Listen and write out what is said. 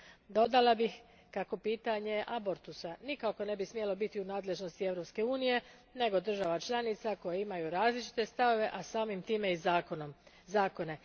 Dodala bih kako pitanje abortusa nikako ne bi smjelo biti u nadležnosti Europske unije, nego država članica koje imaju različite stavove, a samim time i zakone.